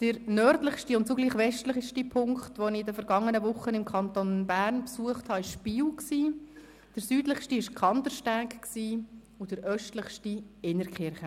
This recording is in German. Der nördlichste und zugleich westlichste Punkt, den ich vergangene Woche im Kanton Bern besucht habe, war Biel, der südlichste war Kandersteg und der östlichste Innertkirchen.